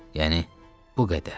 Yəni bu qədər.